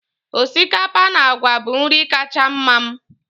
osikapa na agwa bụ nri kacha mma m